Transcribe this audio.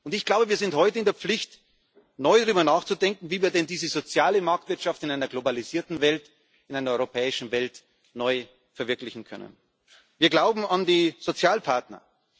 Ich glaube, wir sind heute in der Pflicht, neu darüber nachzudenken, wie wir denn diese soziale Marktwirtschaft in einer globalisierten Welt, in einer europäischen Welt, neu verwirklichen können. Wir glauben an die Sozialpartner.